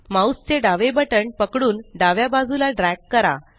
mouse चे डावे बटण पकडून डाव्या बाजूला ड्रॅग करा